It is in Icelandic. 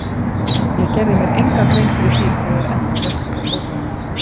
Ég gerði mér enga grein fyrir því hvað ég er ennþá völt á fótunum.